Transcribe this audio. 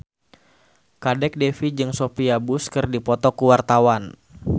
Kadek Devi jeung Sophia Bush keur dipoto ku wartawan